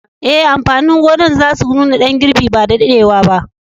Eh, amfanin gonan za su nuna dan girbi ba da daddewa ba.